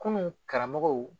Kunun karamɔgɔw